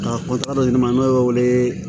Ka fɔ ta dɔ de ma n'o wele